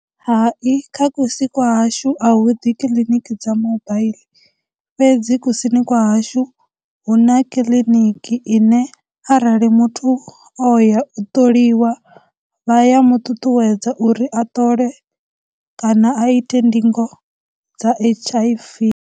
Hai, kha kusi kwa hashu a hu ḓi kiliniki dza mobile fhedzi kusini kwa hashu, huna kiḽiniki ine arali muthu o ya u ṱoliwa, vha ya mu ṱuṱuwedza uri a ṱole kana a ite ndingo dza H_I_V.